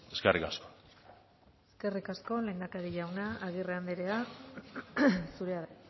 eskerrik asko eskerrik asko lehendakari jauna agirre andrea zurea da